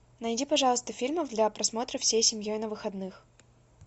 найди пожалуйста фильмов для просмотра всей семьей на выходных